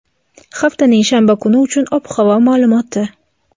haftaning shanba kuni uchun ob-havo ma’lumoti.